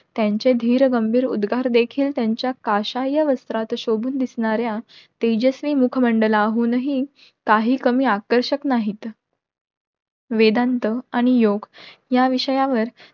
त्यांचे धीर गंभीर उद्गार देखील त्यांच्या पश्याय वात्रट शोभून दिसणाऱ्या तेजस्वी मुख मंडलाहुनही काही कमी आकर्षक नाहीत. वेदांत आणि योग्य या विषयावर